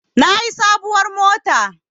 Na yi sabuwar mota